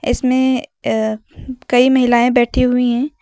इसमें अ कई महिलाएं बैठी हुई है।